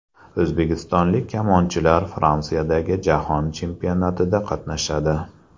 O‘zbekistonlik kamonchilar Fransiyadagi jahon chempionatida qatnashadi.